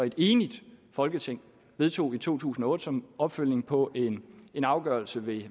et enigt folketing vedtog i to tusind og otte som opfølgning på en afgørelse ved